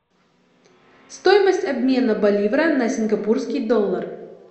стоимость обмена боливара на сингапурский доллар